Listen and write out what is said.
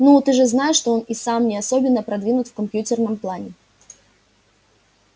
ну ты же знаешь что он и сам не особенно продвинут в компьютерном плане